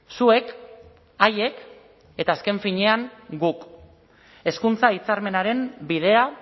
zuek haiek eta azken finean guk hezkuntza hitzarmenaren bidea